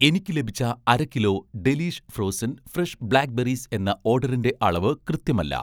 എനിക്ക് ലഭിച്ച അര kilo 'Delish' frozen fresh black berries എന്ന ഓഡറിന്‍റെ അളവ് കൃത്യമല്ല